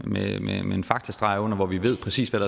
med en faktorstreg under hvor vi ved præcis hvad